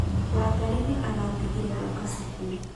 Wangarĩ nĩaratigire gũũka cukuru.